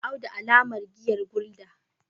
audu alamar giyar gulder